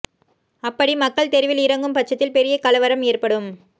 அப்படி மக்கள் தெருவில் இறங்கும் பட்சத்தில் பெரிய கலவரம் ஏற்படும்